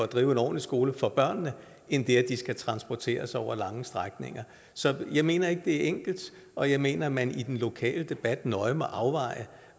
drive en ordentlig skole for børnene end det at de skal transporteres over lange strækninger så jeg mener ikke det er enkelt og jeg mener at man i den lokale debat nøje må overveje